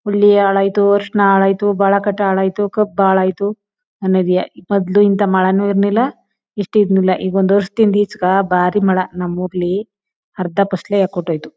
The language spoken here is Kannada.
ಉಳ್ಳಿ ಹಾಳ್ ಆಯಿತು ಅರಿಷಣ ಹಾಳ್ ಆಯಿತು ಬಾಳೇಖಾಟ ಹಾಳ್ ಆಯಿತು ಕಬ್ಬ ಹಾಳ್ ಆಯಿತು ಅನ್ನೋದೆಯಾ ಮೊದ್ದಲು ಇಂತ ಮಳೆನು ಇರ್ಲಿಲ ಇಷ್ಟು ಇರ್ಲಿಲ ಈಗ ಒಂದ್ ವರ್ಶದಿಂದ ಈಚೆಗೆ ಬಾರಿ ಮಳೆ ನಮ್ಮ ಊರಲ್ಲಿ ಅರ್ಧ ಪಸಲೆ ಯೆಕ್ಕಟ್ಹೋಯ್ತು.